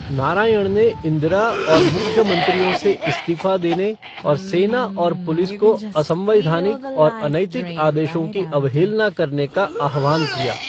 नारायण ने इंदिरा और मुख्यमंत्रियों से इस्तीफा देने और सेना और पुलिस को असंवैधानिक और अनैतिक आदेशों की अवहेलना करने का आह्वान किया।